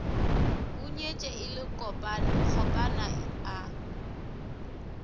hunyetše e le kgopana a